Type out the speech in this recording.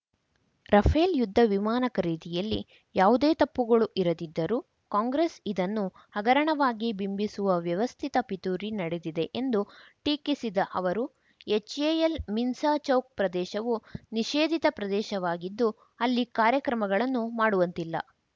Rafale ಯುದ್ಧ ವಿಮಾನ ಖರೀದಿಯಲ್ಲಿ ಯಾವುದೇ ತಪ್ಪುಗಳು ಇರದಿದ್ದರೂ ಕಾಂಗ್ರೆಸ್‌ ಇದನ್ನು ಹಗರಣವಾಗಿ ಬಿಂಬಿಸುವ ವ್ಯವಸ್ಥಿತ ಪಿತೂರಿ ನಡೆದಿದೆ ಎಂದು ಟೀಕಿಸಿದ ಅವರು ಎಚ್‌ಎಎಲ್‌ ಮಿನ್ಸ ಚೌಕ್‌ ಪ್ರದೇಶವು ನಿಷೇಧಿತ ಪ್ರದೇಶವಾಗಿದ್ದು ಅಲ್ಲಿ ಕಾರ್ಯಕ್ರಮಗಳನ್ನು ಮಾಡುವಂತಿಲ್ಲ